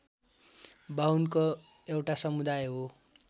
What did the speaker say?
बाहुनको एउटा समुदाय हो